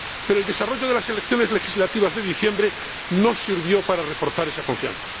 Pero el desarrollo de las elecciones legislativas de diciembre no sirvió para reforzar esa confianza.